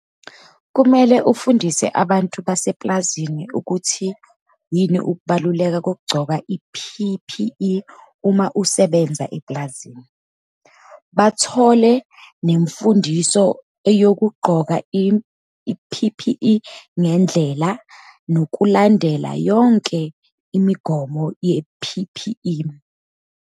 Kumele ufundise abantu basepulazini ukuthi yini ukubaluleka kokugcoka i-P_P_E uma usebenza epulazini. Bathole nemfundiso eyokugqoka i-P_P_E ngendlela, nokulandela yonke imigomo ye-P_P_E.